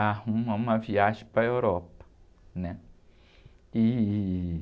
arruma uma viagem para a Europa, né? E...